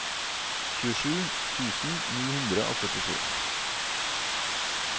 tjuesju tusen ni hundre og førtisju